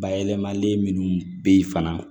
Bayɛlɛmalen minnu bɛ ye fana